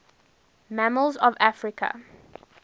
mammals of africa